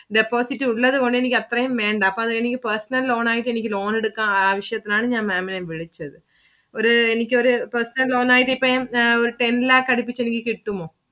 Deposit ഉള്ളത് കൊണ്ട് എനിക്ക് അത്രേം വേണ്ട. അപ്പൊ അതെനിക്ക് personal loan ആയിട്ടു എനിക്ക് loan എടുക്കാൻ ആവിശ്യത്തിനാണ് ഞാൻ Maám ഇനെ വിളിച്ചത്. ഒരു എനിക്കൊരു personal loan ആയിട്ടു ഇപ്പൊ ഒരു ten lakh അടുപ്പിച്ചു എനിക്ക് കിട്ടുമോ